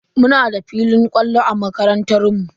Muna da filin kwallo a makarantar mu.